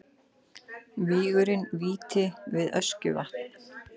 Gígurinn Víti við Öskjuvatn.